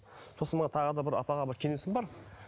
сосын мына тағы да бір апаға бір кеңесім бар